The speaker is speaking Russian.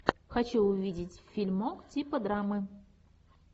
хочу увидеть фильмок типа драмы